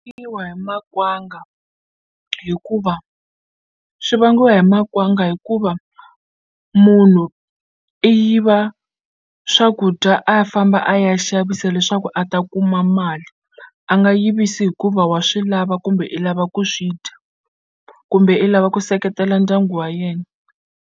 Hi makwanga hikuva swi vangiwa hi makwanga hikuva munhu i yiva swakudya a famba a ya xavisa leswaku a ta kuma mali a nga yivisi hikuva wa swi lava kumbe i lava ku swi dya kumbe i lava ku seketela ndyangu wa yena.